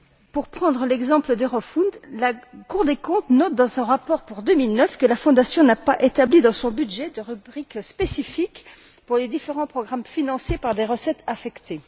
Pour prendre l'exemple d'Eurofound, la Cour des comptes note dans son rapport pour 2009 que la Fondation n'a pas établi dans son budget de rubrique spécifique pour les différents programmes financés par des recettes affectées.